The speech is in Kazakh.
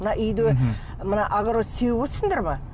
мына үйде мына огород сеуіп отырсыңдар ма